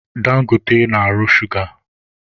Dangote na-arụ shuga.